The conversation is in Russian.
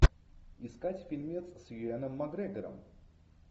искать фильмец с юэном макгрегором